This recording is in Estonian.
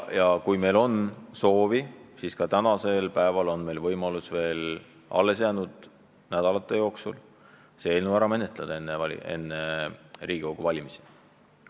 Ja kui meil on soovi, siis jõuame praegugi alles jäänud nädalate jooksul selle enne Riigikogu valimisi vastu võtta.